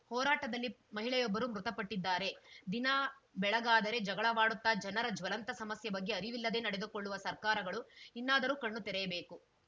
ಹೋರಾಟದಲ್ಲಿ ಮಹಿಳೆಯೊಬ್ಬರು ಮೃತಪಟ್ಟಿದ್ದಾರೆ ದಿನ ಬೆಳಗಾದರೆ ಜಗಳವಾಡುತ್ತಾ ಜನರ ಜ್ವಲಂತ ಸಮಸ್ಯೆ ಬಗ್ಗೆ ಅರಿವಿಲ್ಲದೆ ನಡೆದುಕೊಳ್ಳುವ ಸರ್ಕಾರಗಳು ಇನ್ನಾದರೂ ಕಣ್ಣು ತೆರೆಯಬೇಕು